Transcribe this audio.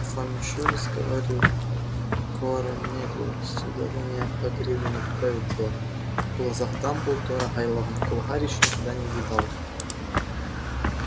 я вам ещё раз говорю корнелиус удаление хагрида не поправит дела в голубых глазах дамблдора горел огонь какого гарри ещё никогда не видел